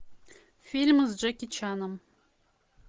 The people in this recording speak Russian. фильмы с джеки чаном